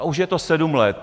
A už je to sedm let.